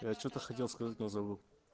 что-то хотел сказать но забыл